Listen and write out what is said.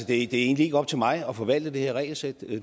det er egentlig ikke op til mig at forvalte det her regelsæt